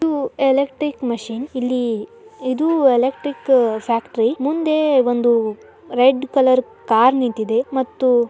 ಇದು electric machines ಇಲ್ಲೇ ಇದು ಎಲೆಕ್ಟ್ರಿಕ್ ಫ್ಯಾಕ್ಟರಿ ಮುಂದೆ ಒಂದು ರೆಡ್ ಕಲರ್ ಕಾರ್ ನಿಂತಿದೆ. ಮತ್ತು--